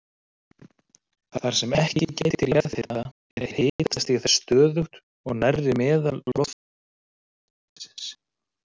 Þar sem ekki gætir jarðhita er hitastig þess stöðugt og nærri meðal-lofthita upptakasvæðisins.